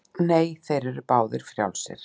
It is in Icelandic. Nú eru þeir báðir frjálsir.